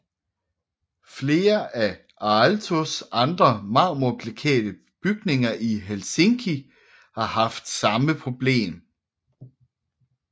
Flere af Aaltos andre marmorbeklædte bygninger i Helsinki har haft samme problem